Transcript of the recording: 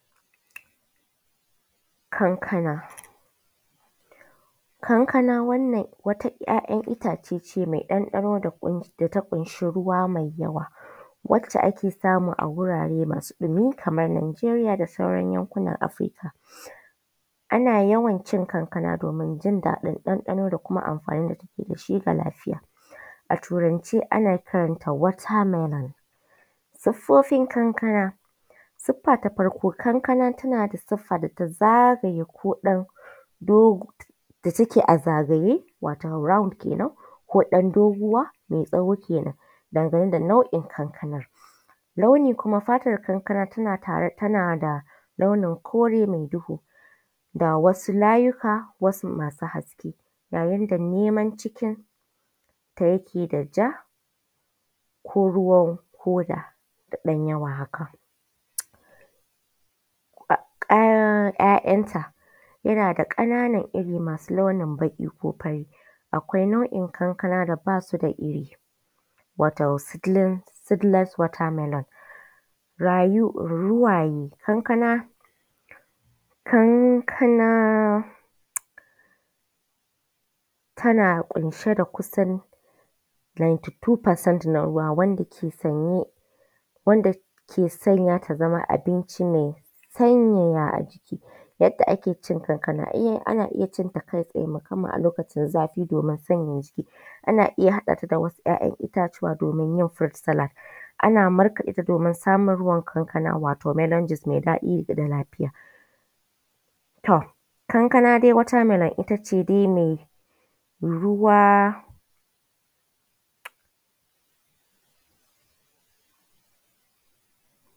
Kankana, kankana wata 'ya'yan itace ce mai daɗi da ta ƙunshi ruwa da yawa, wacce ake samu a wurare masu ɗimi kamar Nijeriya da sauran yankunan Afirika. Ana yawan cin kankana don jin daɗi da kuma ɗanɗano da amfani da take da shi ga lafiya. A turance ana kiranta water melon, siffofin kankana: sifa ta farko kankana tana da siffa da ta zageye take da a zagaye round kenan ko ɗan doguwa mai tsawo kenan. Dangane da nau'in kankana, naui kuma tana da launin kore mai duhu da wasu layuka masu haske yayin da launin cikinta yake da ja ko ruwan hoda da ɗan yawwa haka, kayan 'ya'yanta yana da ƙananan irin a cikinta masu launin baƙi ko fari. Akwai nau'in kankana da ba su da iri wato seedless water melon. Kankana tana ƙunshe da kusan 92% na ruwa wanda yake sanya ta zama abincinke sanyaya baki. Yadda ake cin kankana, ana ci kankana musamman a lokaci zafi domin sayaya, ana iya haɗa ta da wasu ya'yan itatuwan domin yin fruit sallat ana markaɗa ta domin wato melon mix mai daɗin da ƙara lafiya. To kankana dai water melon ita ce dai ruwa.